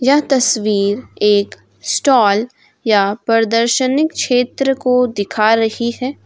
यह तस्वीर एक स्टॉल या प्रदर्शनीक क्षेत्र को दिखा रही है।